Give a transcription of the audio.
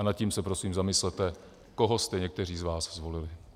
A nad tím se prosím zamyslete, koho jste někteří z vás zvolili.